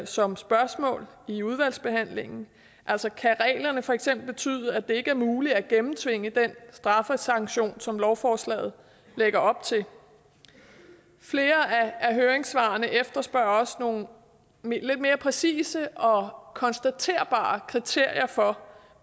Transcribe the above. som spørgsmål i udvalgsbehandlingen altså kan reglerne for eksempel betyde at det ikke er muligt at gennemtvinge den straffesanktion som lovforslaget lægger op til flere af høringssvarene efterspørger også nogle lidt mere præcise og konstaterbare kriterier for